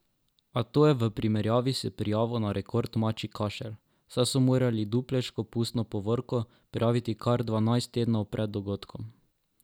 A to je v primerjavi s prijavo na rekord mačji kašelj, saj so morali dupleško pustno povorko prijaviti kar dvanajst tednov pred dogodkom.